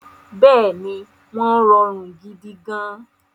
Bẹ́ẹ̀ni, wọ́n rọrùn gidigan